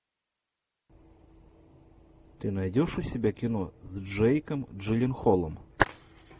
ты найдешь у себя кино с джейком джилленхолом